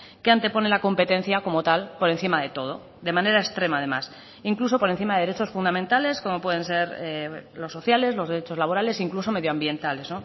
que antepone la competencia como tal por encima de todo de manera extrema además incluso por encima de derechos fundamentales como pueden ser los sociales los derechos laborales incluso medioambientales